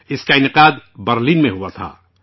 اس کا انعقاد برلن میں ہوا تھا